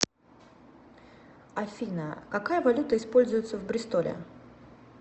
афина какая валюта используется в бристоле